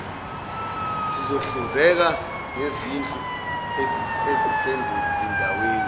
sizohlinzeka ngezindlu ezisezindaweni